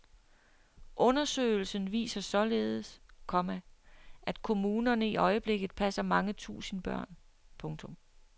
Undersøgelsen viser således, komma at kommunerne i øjeblikket passer mange tusind børn. punktum